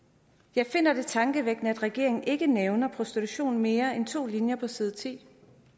jeg finder det tankevækkende at regeringen ikke nævner prostitution mere end med to linjer på side ti